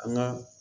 An ka